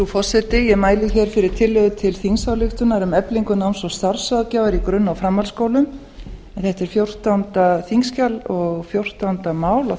forseti ég mæli fyrir tillögu til þingsályktunar um eflingu starfs og námsráðgjafar í grunn og framhaldsskólum þetta er þingskjal fjórtán og fjórtánda mál á